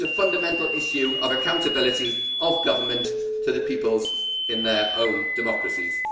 it is a fundamental issue of accountability of government to the peoples in their own democracies.